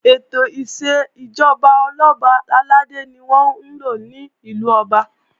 Ètò ìṣèjọba Ọlọ́ba àlàdé ni wọ́n ńlò ní ìlú Ọba